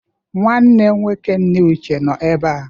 Nwanne nwoke nne Uche nọ ebe a.